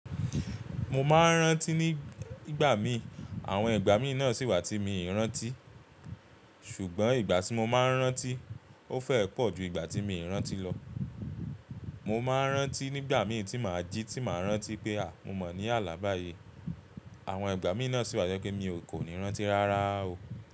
Mo máa ń rántí ní ìgbà mi, àwọn ìgbà míì náà sì wà tí mi ì rántí, ṣùgbọ́n ìgbà tí mo máa ń rántí ó fẹ́ẹ́ pọ̀ ju ìgbà tí mi ì rántí lọ. Mo máa ń rántí nígbà mìí tí màá jí tí màá rántí pé à! Mo mọ̀ ní àlá báyìí. Àwọn ìgbà míì náà sì wà tí mi o kò ní rántí rárá o.